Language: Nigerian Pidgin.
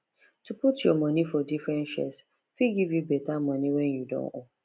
to put your money for different shares fit give you better money when you don old